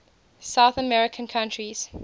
south american countries